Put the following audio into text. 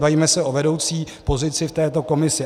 Bavíme se o vedoucí pozici v této komisi.